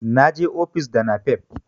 na je ofis da napep